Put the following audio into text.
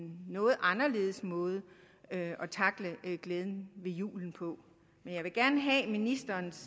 noget anderledes måde at tackle glæden ved julen på men jeg vil gerne have ministerens